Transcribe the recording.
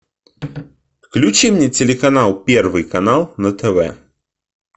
включи мне телеканал первый канал на тв